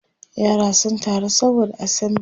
yara sun taru saboda assembly